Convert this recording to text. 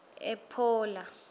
ephola